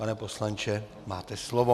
Pane poslanče, máte slovo.